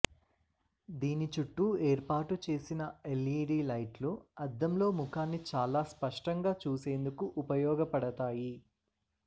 దీని చుట్టూ ఏర్పాటు చేసిన ఎల్ఈడీ లైట్లు అద్దంలో ముఖాన్ని చాలా స్పష్టంగా చూసేందుకు ఉపయోగపడతాయి